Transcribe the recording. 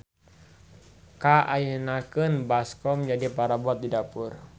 Ka ayeunakeun baskom jadi parabot di dapur.